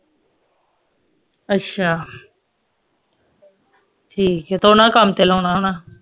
ਅੱਛਾ ਠੀਕ ਹੈ ਤੇ ਓਹਨਾ ਨੂੰ ਕੰਮ ਤੇ ਲਾਉਣਾ ਹੋਣਾ